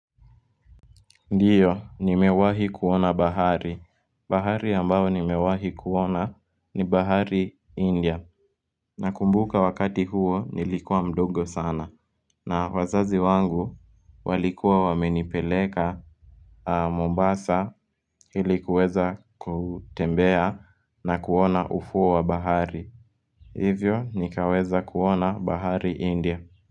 Ndiyo, nimewahi kuona bahari. Bahari ambao nimewahi kuona ni bahari India. Nakumbuka wakati huo nilikuwa mdogo sana. Na wazazi wangu walikuwa wamenipeleka Mombasa ilikuweza kutembea na kuona ufuo wa bahari. Hivyo nikaweza kuona bahari India.